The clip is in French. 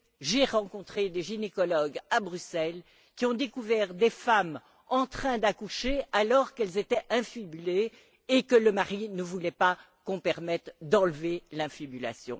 J'ai rencontré des gynécologues à Bruxelles qui ont découvert des femmes en train d'accoucher alors qu'elles étaient infibulées et que le mari ne voulait qu'on permette d'enlever l'infibulation.